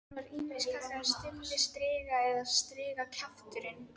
Hann var ýmist kallaður Stulli striga eða strigakjafturinn.